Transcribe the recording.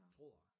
Tror jeg